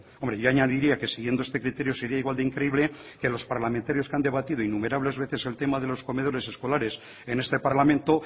hombre yo añadiría que siguiendo este criterio sería igual de increíble que los parlamentarios que han debatido en numerables veces el tema de los comedores escolares en este parlamento